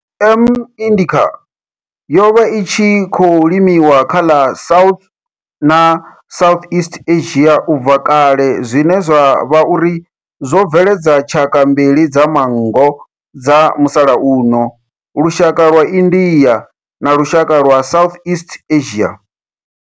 M. indica yo vha i tshi khou limiwa kha ḽa South na Southeast Asia ubva kale zwine zwa vha uri zwo bveledza tshaka mbili dza manngo dza musalauno, lushaka lwa India na lushaka lwa Southeast Asia.